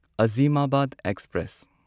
ꯑꯥꯓꯤꯃꯥꯕꯥꯗ express